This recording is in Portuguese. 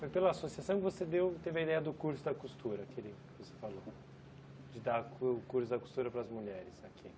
Foi pela associação que você deu teve a ideia do curso da costura, que você falou, de dar o curso da costura para as mulheres aqui.